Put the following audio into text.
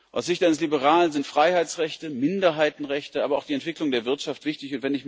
Aus Sicht eines Liberalen sind Freiheitsrechte, Minderheitenrechte, aber auch die Entwicklung der Wirtschaft wichtig.